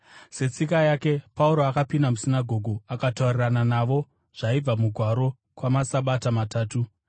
Setsika yake Pauro akapinda musinagoge, akataurirana navo zvaibva muMagwaro, kwamaSabata matatu,